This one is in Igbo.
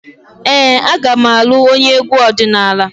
Ee, aga m alụ onye egwu ọdịnala.